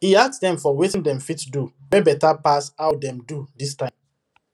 he ask dem for wetin dem fit do wey better pass how dem do this time